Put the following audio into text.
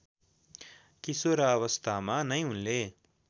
किशोरावस्थामा नै उनले